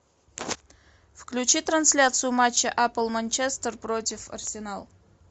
включи трансляцию матча апл манчестер против арсенал